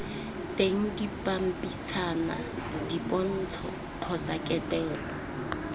teng dipampitshana dipontsho kgotsa ketelo